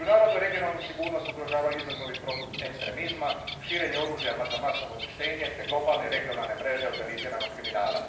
Međunarodnu regionalnu sigurnost ugrožavaju izazovi poput ekstremizma, širenje oružja za masovno uništenje te globalne i regionalne mreže organiziranog kriminala.